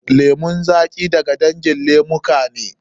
Lemun zaƙi da ga dangin lemuka ne.